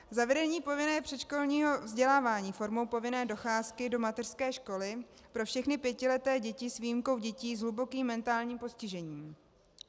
Zavedení povinného předškolního vzdělávání formou povinné docházky do mateřské školy pro všechny pětileté děti s výjimkou dětí s hlubokým mentálním postižením.